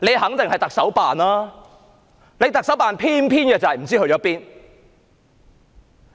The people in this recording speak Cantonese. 這肯定是特首辦的工作，但特首辦偏偏卻不知去了哪